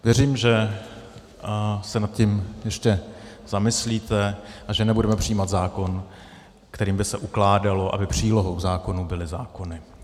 Věřím, že se nad tím jistě zamyslíte a že nebudeme přijímat zákon, kterým by se ukládalo, aby přílohou zákonů byly zákony.